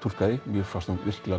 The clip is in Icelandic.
túlkaði mér fannst hún virkilega